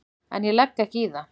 En ég legg ekki í það.